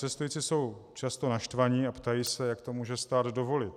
Cestující jsou často naštvaní a ptají se, jak to může stát dovolit.